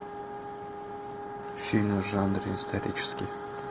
фильм в жанре исторический